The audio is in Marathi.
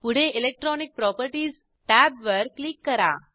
पुढे इलेक्ट्रॉनिक प्रॉपर्टीज टॅब वर क्लिक करा